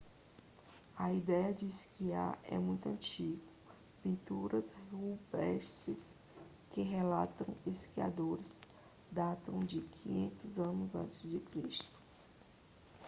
a ideia de esquiar é muito antiga pinturas rupestres que retratam esquiadores datam de 5000 a.c